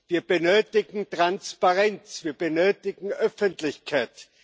Wir benötigen Transparenz, wir benötigen Öffentlichkeit.